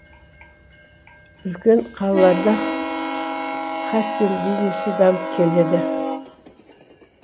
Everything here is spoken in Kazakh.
үлкен қалаларда хастель бизнесі дамып келеді